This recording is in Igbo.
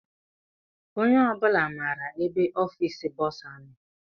Onye obula maara ebe ọfiisi bọsa nọ.